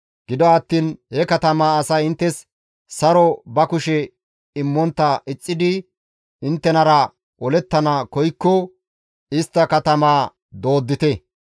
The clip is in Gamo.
Gido attiin he katamaa asay inttes saron ba kushe immontta ixxidi inttenara olettana koykko istta katamaa dooddite.